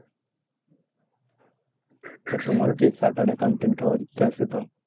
তা তোমারও কি chartered accountant হওয়ার ইচ্ছা আছে তো?